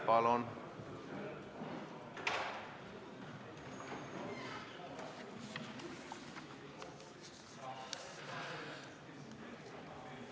Palun!